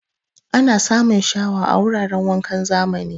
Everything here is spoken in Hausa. Ana samun shawa a wuraran wankan zamani.